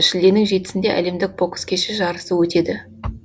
шілденің жетісінде әлемдік бокс кеші жарысы өтеді